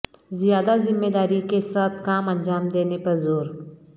زیادہ ذمہ داری کے ساتھ کام انجام دینے پر زور